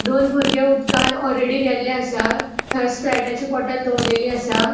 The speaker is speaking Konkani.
दोन बुर्गे उदकान ओलरेडी गेल्ले असा. थंय स्प्राइटाची बॉटल दोवोरलेली असा.